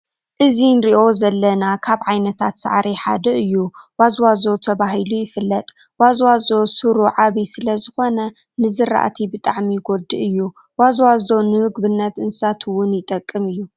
እዚ እንሪኦ ዘለና ካብ ዓይነታት ሳዕሪ ሓደ እዩ ዋዝዋዞ ተባሂሉ ይፍለጥ። ዋዝዋዞ ስሩ ዓብይ ስለዝኮነ ንዝራእቲ ብጣዕሚ ይጎድኦ እዩ። ዋዝዋዞ ንምግብነት እንስሳት እውን ይጠቅም እዩ።